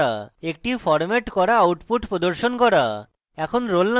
একটি ফরম্যাট করা output প্রদর্শন করা এখন